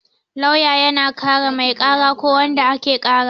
Lauya yana kare mai kara ko wanda ake kara